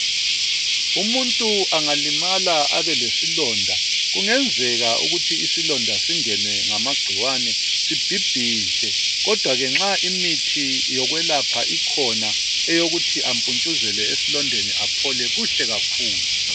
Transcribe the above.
Umuntu angalimala abelesilonda kungenzeka ukuthi singenwe ngamagciwane sibhibhidle. Kodwa ke nxa imithi yokwelapha ikhona eyokuthi ampuntshuzele esilondeni aphole kuhle kakhulu.